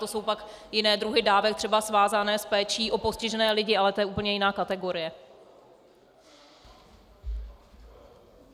To jsou pak jiné druhy dávek, třeba svázané s péči o postižené lidi, ale to je úplně jiná kategorie.